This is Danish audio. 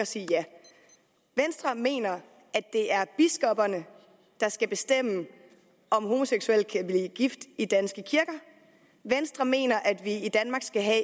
sige ja venstre mener at det er biskopperne der skal bestemme om homoseksuelle kan blive gift i danske kirker venstre mener at vi i danmark skal have